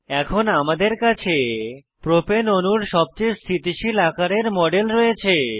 এখন আমাদের কাছে প্রোপেন অণুর সবচেয়ে স্থিতিশীল আকারের মডেল রয়েছে